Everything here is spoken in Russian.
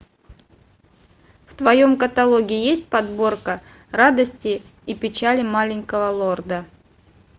в твоем каталоге есть подборка радости и печали маленького лорда